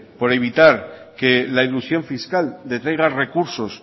por evitar que la elusión fiscal detraiga recursos